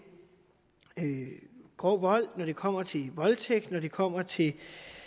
grov vold og når det kommer til voldtægt når det kommer til